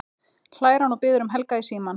hlær hann og biður um Helga í símann.